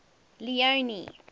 leone